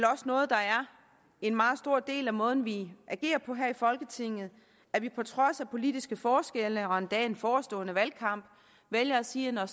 også noget der er en meget stor del af måden vi agerer på her i folketinget at vi på trods af politiske forskelle og endda en forestående valgkamp vælger at sige at når